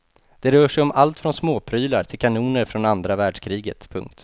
Det rör sig om allt från småprylar till kanoner från andra världskriget. punkt